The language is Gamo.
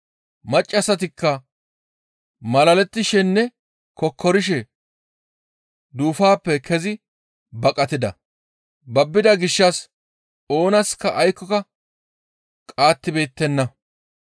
Maccassatikka malalettishenne kokkorishe duufaappe kezi baqatida. Babbida gishshas oonaska aykkoka qaattibeettenna.